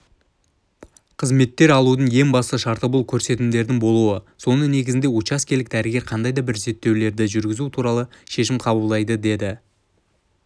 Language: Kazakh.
қызметтер алудың ең басты шарты бұл көрсетімдердің болуы соның негізінде учаскелік дәрігер қандай да бір зерттеулерді жүргізу туралы шешім қабылдайды деді